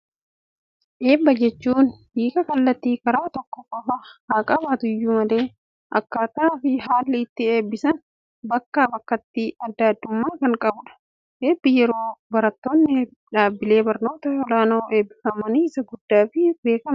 Eebba jechuun, hiika kallattii karaa tokko qofa haa qabaatuyyuu malee, akkaataa fi haalli itti eebbisan bakkaa, bakkatti addaa addummaa kan qabudha. Eebbi yeroo barattoonni dhaabbilee barnoota olaanoo eebbifamanii, isa guddaa fi beekamaadha.